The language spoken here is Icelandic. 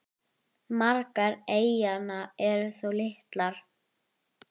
Margar eyjanna eru þó litlar.